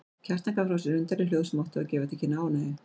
Kjartan gaf frá sér undarleg hljóð sem áttu að gefa til kynna ánægju.